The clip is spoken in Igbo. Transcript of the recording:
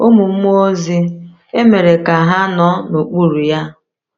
Ụmụ mmụọ ozi emere ka ha nọ n’okpuru ya.